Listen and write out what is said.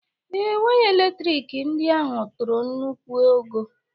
Ee, waya elektrik ndị ahụ toro nnukwu ogo